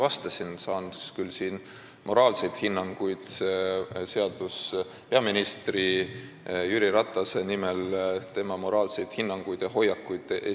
Seadus ei ole andnud mulle voli esindada ja esitada peaminister Jüri Ratase nimel tema moraalseid hinnanguid ja hoiakuid.